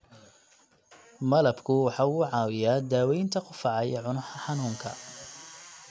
Malabku waxa uu caawiyaa daawaynta qufaca iyo cunaha xanuunka.